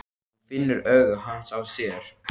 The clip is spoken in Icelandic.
Hún finnur augu hans á sér.